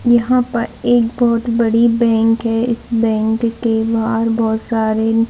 यहाँ पर एक बहुत बड़ी बैंक है इस बैंक के बाहर बहुत सारे --